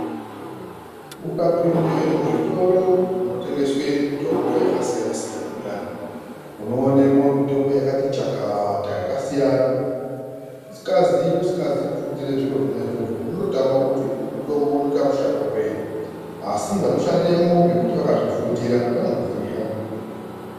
Ukapinde muzvitoro munotengeswe mitombo yakasiyana siyana muyana, unoonemwo mitombo yakati chakata yakasiyana. Usikazi kufundire zviro zvona izvozvo unototame kuti mitombo uyu unoite mushando wei asi vanoshandemwo ngekuti vakazvifundira vanoziya.